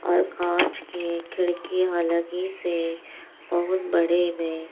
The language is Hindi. और कांच की खिड़कि ह लगी से बहुत बड़े में।